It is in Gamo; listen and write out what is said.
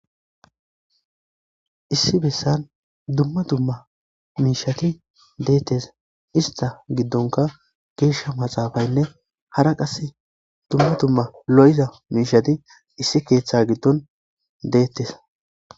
issi bessan dumma dumma miishati deettes ista giddonka geeshsha maxaafaynne hara qase dumma dumma lo'iza miishati issi keeththa giddon deettes